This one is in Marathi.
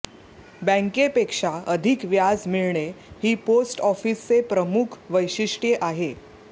बँकेपेक्षा अधिक व्याज मिळणे ही पोस्ट ऑफिसचे प्रमुख वैशिष्ट्ये आहे